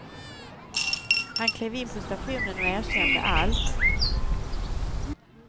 Han klev in på stationen och erkände allt.